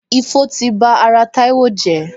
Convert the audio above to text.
Ifo ti ba ara Taiwo jẹ.